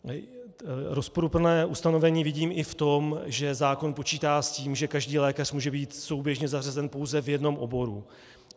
Rozporuplné ustanovení vidím i v tom, že zákon počítá s tím, že každý lékař může být souběžně zařazen pouze v jednom oboru.